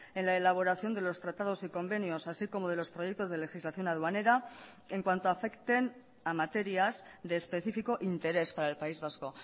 en la elaboración de los tratados y convenios así como de los proyectos de legislación aduanera en cuanto afecten a materias de especifico interés para el país vasco